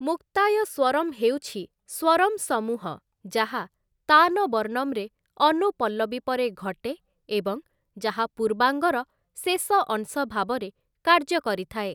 ମୁକ୍ତାୟ ସ୍ୱରମ୍‌' ହେଉଛି 'ସ୍ୱରମ୍‌ ସମୂହ' ଯାହା 'ତାନ ବର୍ଣ୍ଣମ୍‌' ରେ ଅନୁପଲ୍ଲବୀ ପରେ ଘଟେ ଏବଂ ଯାହା ପୂର୍ବାଙ୍ଗ (ପ୍ରଥମ ଭାଗ) ର ଶେଷ ଅଂଶ ଭାବରେ କାର୍ଯ୍ୟ କରିଥାଏ ।